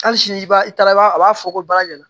Hali sini i b'a i taara a b'a fɔ ko bara ɲɛna